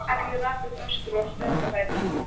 Alli rak upp öskur og stökk á fætur.